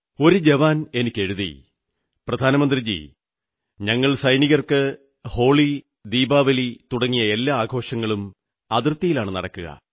ഒരു ജവാൻ എനിക്കെഴുതി പ്രധാനമന്ത്രീജീ ഞങ്ങൾ സൈനികർക്ക് ഹോളി ദീപാവലി തുടങ്ങിയ എല്ലാ ആഘോഷങ്ങളും അതിർത്തിയിലാണു നടക്കുക